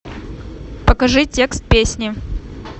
покажи текст песни